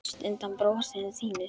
Mest undan brosinu þínu.